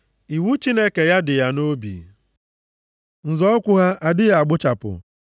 Iwu Chineke ya dị ya nʼobi; nzọ ukwu ha adịghị agbụchapụ.